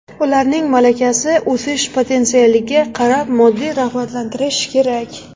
Ularning malakasi, o‘sish potensialiga qarab moddiy rag‘batlantirish kerak.